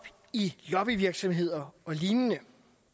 i lobbyvirksomheder og lignende